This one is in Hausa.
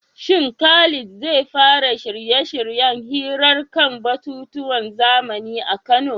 Shin Khalid zai fara shirye-shiryen hirar kan batutuwan zamani a Kano?